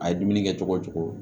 A ye dumuni kɛ cogo o cogo